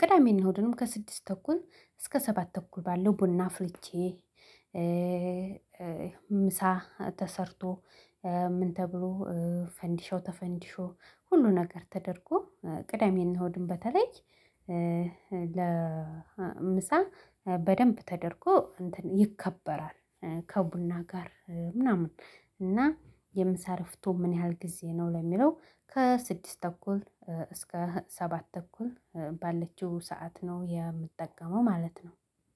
ቅዳሜና እሁድንም ከስድስት ተኩል እስከ ሰባት ተኩል ባለው ቡና አፍልቼ ምሳ ተሰርቶ ምን ተብሎ ፈንዲሻው ተፈንዲሾ ሁሉ ነገር ተደርጎ ቅዳሜና እሁድን በተለይ ለምሳ በደንብ ተደርጎ እንትን ይከበራል ከቡና ጋር ምናምን እና የምሳ እረፍቶ ምን ያህል ጊዜ ነው? ለሚለው ከስድስት ተኩል እስከ ሰባት ተኩል ባለችው ሰዓት ነው የምጠቀመው ማለት ነው።